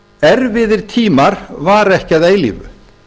erfiðir tímar vara ekki að eilífu